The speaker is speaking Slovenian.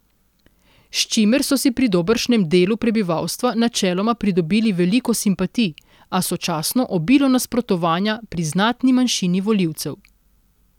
S čimer so si pri dobršnem delu prebivalstva načeloma pridobili veliko simpatij, a sočasno obilo nasprotovanja pri znatni manjšini volilcev.